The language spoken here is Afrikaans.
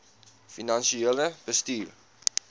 finansiële bestuur